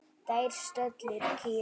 Þær stöllur kíma við.